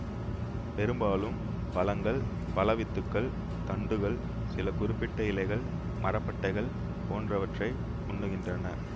பெரும்பாலும் பழங்கள் பழ வித்துக்கள் தண்டுகள் சில குறிப்பிட்ட இலைகள் மரப்பட்டைகள் போன்றவற்றை உண்ணுகின்றன